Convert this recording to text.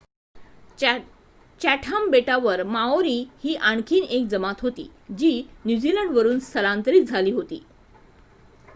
Chatham बेटांवर Maori ही आणखी एक जमात होती जी न्यूझीलंडवरून स्थलांतरित झाली होती